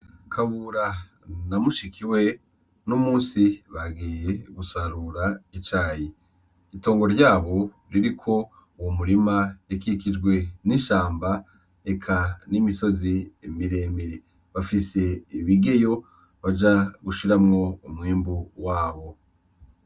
Kabura namushikiwe no musi bagiye gusarura icayi itongo ryabo riri ko uwu murima rikikijwe n'ishamba eka n'imisozi miremire bafise ibigeyo baja gushiramwo umwembu wabo.